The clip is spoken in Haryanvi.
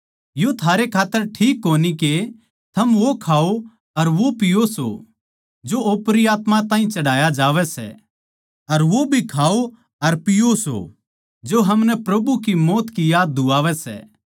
यो थारे खात्तर ठीक कोनी के थम वो खाओ अर पीओ सों जो ओपरी आत्मायाँ ताहीं चढ़ाया जावै सै अर वो भी खाओ अर पीओ सों जो हमनै प्रभु की मौत की याद दुवावै सै